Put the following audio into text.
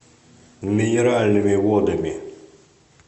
минеральными водами